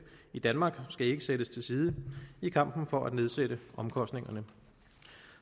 i danmark skal ikke sættes til side i kampen for at nedsætte omkostningerne